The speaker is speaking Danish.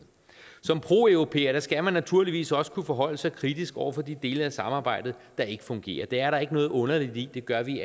som proeuropæer skal man naturligvis også kunne forholde sig kritisk over for de dele af samarbejdet der ikke fungerer det er der ikke noget underligt i det gør vi